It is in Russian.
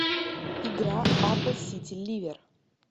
игра апл сити ливер